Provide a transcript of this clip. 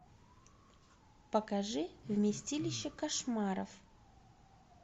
покажи вместилище кошмаров